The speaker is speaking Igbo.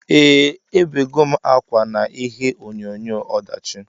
Eeh ebegom akwa na ihe onyonyo ọdachi.